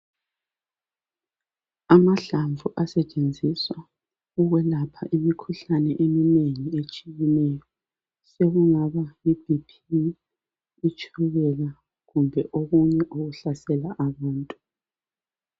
Amahlamvu asetshenziswa ukwelapha imikhuhlane eminengi etshiyeneyo sekungaba yi BP, itshukela kumbe okunye okuhlasela abantu .